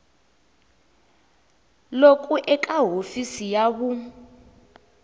loku eka hofisi ya vun